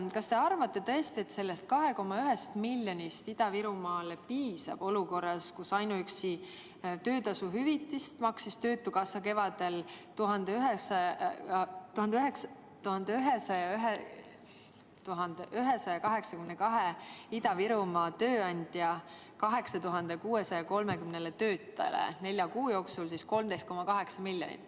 Kas te arvate tõesti, et sellest 2,1 miljonist Ida-Virumaale piisab olukorras, kus ainuüksi töötasu hüvitist maksis töötukassa kevadel 1182 Ida-Virumaa tööandja 8630 töötajale nelja kuu jooksul 13,8 miljonit?